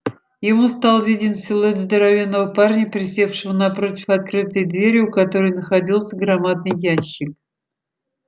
ему стал виден силуэт здоровенного парня присевшего напротив открытой двери у которой находился громадный ящик